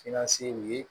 ye